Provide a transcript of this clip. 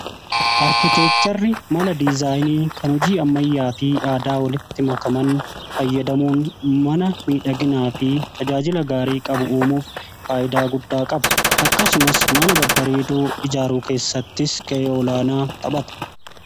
Arkiteekchari mala dizaayinii kan hojii ammayyaa fi aadaa walitti makaman fayyadamuun mana miidhaginaa fi tajaajila gaarii qabu uumuuf faayidaa guddaa qaba. Akkasumas mana babbareedoo ijaaruu keessattis gahee olaanaa taphata.